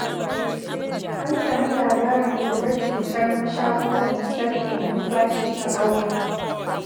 An sami labarin ɓullar cutar mashaƙo mai sarƙe numfashi a ƙauyen.